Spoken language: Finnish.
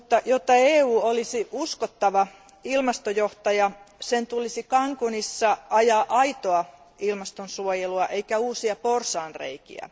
Jotta EU olisi uskottava ilmastojohtaja, sen tulisi Cancúnissa ajaa aitoa ilmastonsuojelua eikä uusia porsaanreikiä.